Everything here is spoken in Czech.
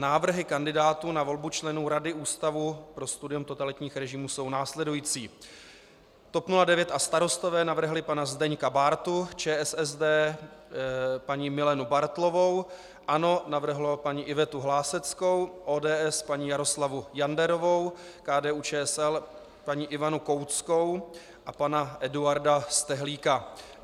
Návrhy kandidátů na volbu členů Rady Ústavu pro studium totalitních režimů jsou následující: TOP 09 a Starostové navrhli pana Zdeňka Bártu, ČSSD paní Milenu Bartlovou, ANO navrhlo paní Ivetu Hláseckou, ODS paní Jaroslavu Janderovou, KDU-ČSL paní Ivanu Kouckou a pana Eduarda Stehlíka.